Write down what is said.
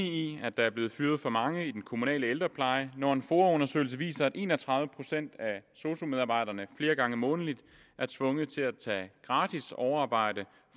i at der er blevet fyret for mange i den kommunale ældrepleje når en foa undersøgelse viser at en og tredive procent af sosu medarbejderne flere gange månedligt er tvunget til at tage gratis overarbejde